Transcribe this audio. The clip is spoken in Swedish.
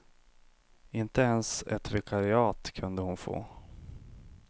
Inte ens ett vikariat kunde hon få.